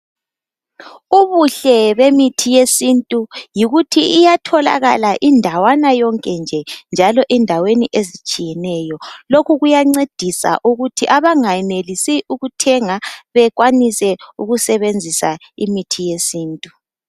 Ubuhle bemithi yesintu yikuthi iyatholakala indawana yonke nje njalo endaweni ezitshiyeneyo .Lokhu kuyancedisa ukuthi abangayenelisi ukuthenga bekwanise ukusebenzisa imithi yesintu .